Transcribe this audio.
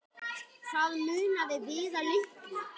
Það munaði víða litlu.